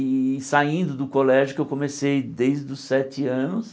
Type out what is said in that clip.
E saindo do colégio, que eu comecei desde os sete anos,